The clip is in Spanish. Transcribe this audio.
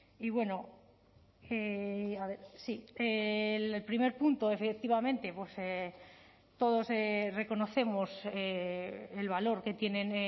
y bueno el primer punto efectivamente todos reconocemos el valor que tienen